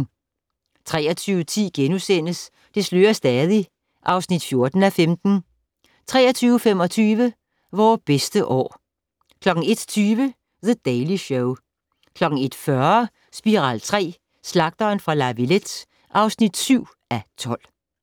23:10: Det slører stadig (14:15)* 23:25: Vore bedste år 01:20: The Daily Show 01:40: Spiral III: Slagteren fra La Villette (7:12)